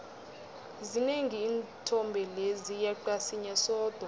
zinengi iinthombe lezi yeqa sinye sodwa